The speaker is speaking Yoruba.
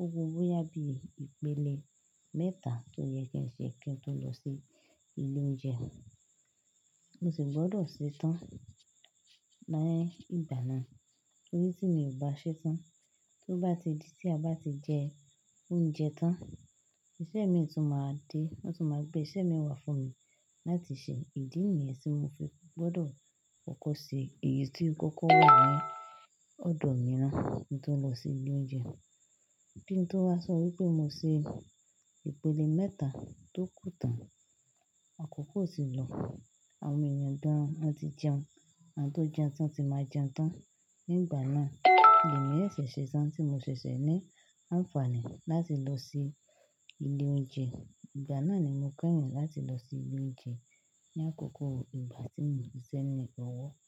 Óku bó yá bí ìpele mẹ́ta tó yẹ kí ẹ ṣe kí ẹ tó lọ sí ilé oúnjẹ. Mo sì gbọ́dọ̀ ṣetán nì ìgbà náà. Torí tí mi ò bá ṣetán, tó bá ti di tí a bá ti jẹ oúnjẹ tán, iṣẹ́ mi tun máa dé. Wọ́n tó máa gbé iṣẹ́ mi wá fún mi láti ṣe. Ìdí nìyẹn tí mo fi gbọ́dọ̀ kọ́kọ́ ṣe èyí tí ó kọ́kọ́ wà nì ọ̀dọ̀ mi na kí n tó lọ sí ilé oúnjẹ. Kí n tó wá sọ wípé mo ṣe ìpele mẹ́ta tó kù tán, àkókò tì lọ. Àwọn èèyàn gan wọn ti jẹun. Àwon tó n jẹun tán ti máa jẹun tán. Ní ìgbà náà, lemi o ṣẹṣẹ tán tí mo ṣe ṣẹṣẹ ní àǹfààní láti lọ sí ilé oúnjẹ. Ìgbà náà ni mo kẹ́yìn láti lọ sí ilé oúnjẹ ní àkókò ìgbà tí mo n ṣẹ́ ní ọwọ́.